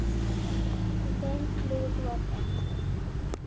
Í þeim lifir þú áfram.